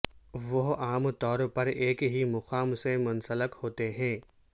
وہ عام طور پر ایک ہی مقام سے منسلک ہوتے ہیں